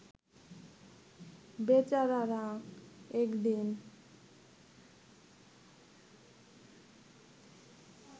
বেচারারা একদিন